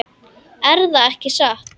Erða ekki satt?